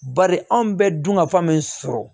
Bari anw bɛ dunkafa min sɔrɔ